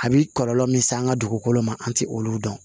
A bi kɔlɔlɔ min se an ka dugukolo ma an ti olu dɔn